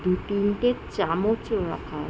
দু তিনটে চামচও রাখা আ--